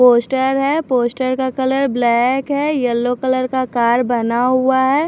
Poster है poster का colour black है येलो कलर का कार बना हुआ है।